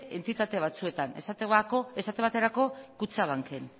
entitate batzuetan esate baterako kutxabanken